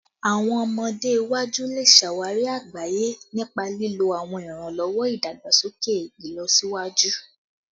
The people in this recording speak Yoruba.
Awọn ọmọde iwaju le ṣawari agbaye nipa lilo awọn iranlọwọ idagbasoke ilọsiwaju